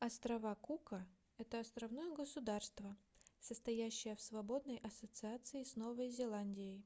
острова кука это островное государство состоящее в свободной ассоциации с новой зеландией